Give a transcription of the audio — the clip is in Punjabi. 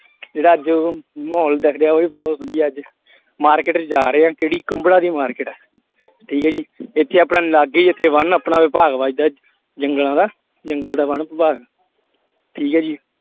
ਜਿਹੜਾ ਅੱਜ ਮਾਹੌਲ ਦਿਖ ਰਿਹਾ ਉਹ ਵੀ ਬਹੁਤ ਵਧੀਆ ਅੱਜ market ਚ ਜਾ ਰਹੇ ਆ ਕਿਹੜੀ ਕੁੰਬੜਾਂ ਦੀ market ਹੈ ਠੀਕ ਹੈ ਜੀ ਇੱਥੇ ਆਪਣਾ ਲਾਗੇ ਹੀ ਇੱਥੇ ਵਨ ਆਪਣਾ ਵਿਭਾਗ ਵਾ ਇੱਧਰ ਜੰਗਲਾਂ ਦਾ ਜੰਗਲ ਦਾ ਵਣ ਵਿਭਾਗ ਠੀਕ ਹੈ ਜੀ।